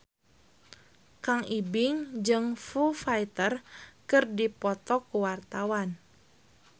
Kang Ibing jeung Foo Fighter keur dipoto ku wartawan